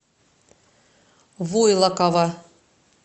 войлокова